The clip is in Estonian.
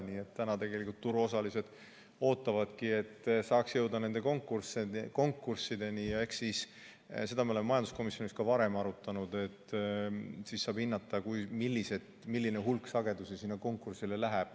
Nii et tegelikult turuosalised ootavadki, et jõutaks nende konkurssideni ja eks siis saab hinnata – seda me oleme majanduskomisjonis ka varem arutanud –, milline hulk sagedusi sinna konkursile läheb.